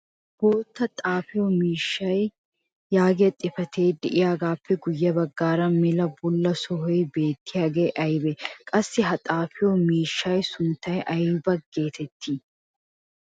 bootta xaafiyo miishshaa yaagiya xifatee diyaagaappe guye bagaara mela bula sohoy beettiyaagee aybee? qassi ha xaaafiyo miishshaassi sunttay aybba geetettii?